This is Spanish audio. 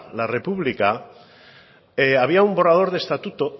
la republica había un borrador de estatuto